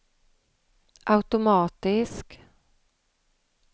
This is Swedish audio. automatisk